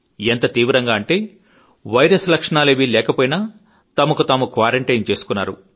ఎంత తీవ్రంగా అంటే వైరస్ లక్షణాలేవీ లేకపోయినా తమకు తాము క్వారంటైన్ చేసుకున్నారు